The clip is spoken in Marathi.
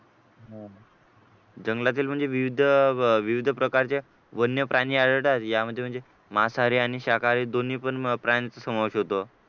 जंगलातील म्हणजे विविध प्रकारचे वन्यप्राणी आढळतात त्यामध्ये म्हणजे आणि म्हणजे मांसाहारी आणि शाकाहारी दोन्ही पण प्राण्यांचा समावेश होतो